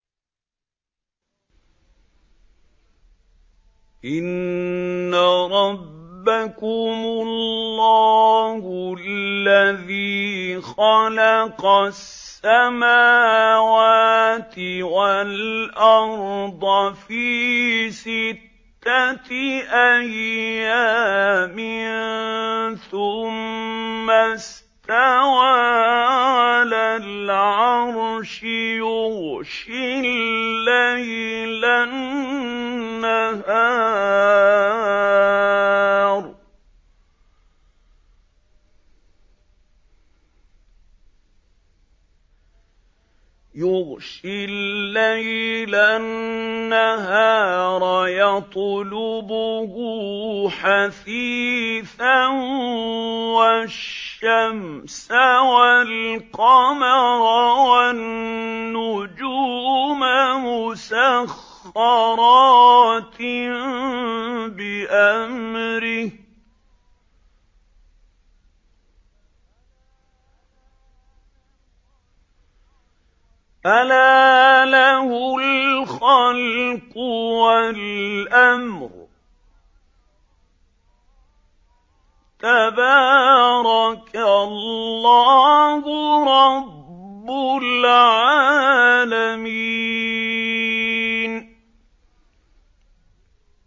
إِنَّ رَبَّكُمُ اللَّهُ الَّذِي خَلَقَ السَّمَاوَاتِ وَالْأَرْضَ فِي سِتَّةِ أَيَّامٍ ثُمَّ اسْتَوَىٰ عَلَى الْعَرْشِ يُغْشِي اللَّيْلَ النَّهَارَ يَطْلُبُهُ حَثِيثًا وَالشَّمْسَ وَالْقَمَرَ وَالنُّجُومَ مُسَخَّرَاتٍ بِأَمْرِهِ ۗ أَلَا لَهُ الْخَلْقُ وَالْأَمْرُ ۗ تَبَارَكَ اللَّهُ رَبُّ الْعَالَمِينَ